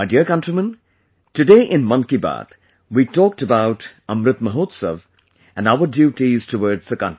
My dear countrymen, today in 'Mann Ki Baat' we talked about 'Amrit Mahotsav' and our duties towards the country